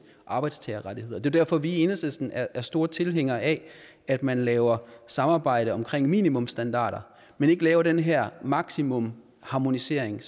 arbejdstagerrettigheder det derfor at vi i enhedslisten er er store tilhængere af at man laver samarbejde omkring minimumsstandarder men ikke laver den her maksimumharmonisering